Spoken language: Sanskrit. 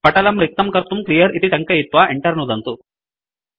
पटलं रिक्तं कर्तुं क्लियर् इति टङ्कयित्वा Enter नुदन्तु